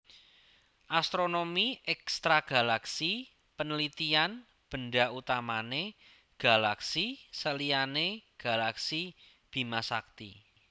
Astronomi Ekstragalaksi penelitian benda utamane galaksi seliyane galaksi Bimasakti